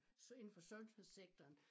Indenfor sundhedssektoren